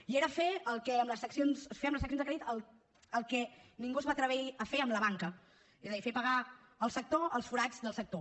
i era fer amb les seccions de crèdit el que ningú es va atrevir a fer amb la banca és a dir fer pagar al sector els forats del sector